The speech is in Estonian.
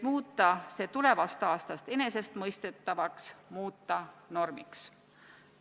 Ning tulevast aastast võiks selle muuta enesestmõistetavaks, muuta normiks.